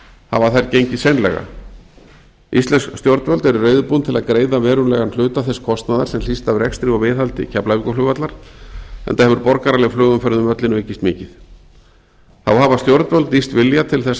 komið hafa þær gengið seinlega íslensk stjórnvöld eru reiðubúin til að greiða verulegan hluta þess kostnaðar sem hlýst af rekstri og viðhaldi keflavíkurflugvallar enda hefur borgaraleg flugumferð um völlinn aukist mikið þá hafa stjórnvöld lýst vilja til þess að